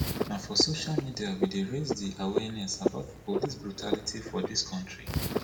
na for social media wey dey raise di awareness about police brutality for dis country